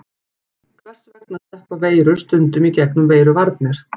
Hvers vegna sleppa veirur stundum í gegnum veiruvarnir?